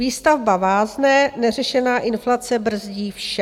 Výstavba vázne, neřešená inflace brzdí vše.